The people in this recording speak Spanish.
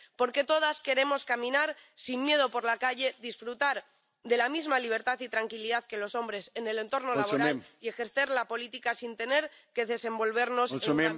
Porque todas queremos caminar sin miedo por la calle, disfrutar de la misma libertad y tranquilidad que los hombres en el entorno laboral y ejercer la política sin tener que desenvolvernos en un ambiente hostil y machista.